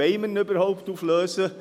Wollen wir ihn überhaupt auflösen?